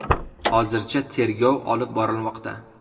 Hozircha tergov olib borilmoqda.